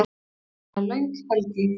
Það er löng helgi.